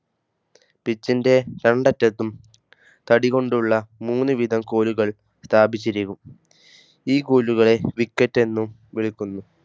പീച്ചിന്റെ രണ്ടറ്റത്തും തടികൊണ്ടുള്ള മൂന്നു വീതം കോലുകൾ സ്ഥാപിച്ചിരിക്കും ഈ കോലുകളെ വിക്കറ്റെന്നും വിളിക്കുന്നു.